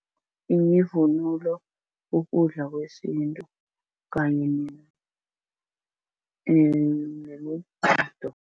Yivunulo, ukudla kwesintu, kanye negido.